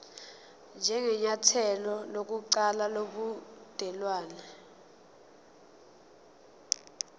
njengenyathelo lokuqala lobudelwane